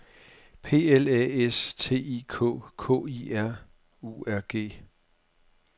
P L A S T I K K I R U R G